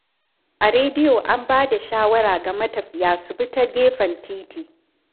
A rediyo an ba da shawara ga matafiya su bi ta gefen titi.